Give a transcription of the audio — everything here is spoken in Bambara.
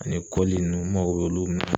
Ani kɔli ninnu n mago b'olu minɛn